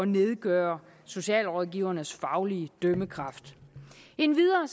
nedgøre socialrådgivernes faglige dømmekraft endvidere